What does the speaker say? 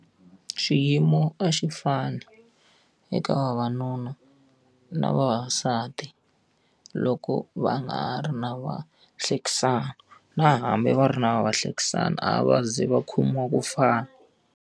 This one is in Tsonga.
Xiyimo a xi fani eka vavanuna na vavasati loko va nga ha ri na vahlekisani na hambi va ri na vahlekisani, a va ze va khomiwa ku fana.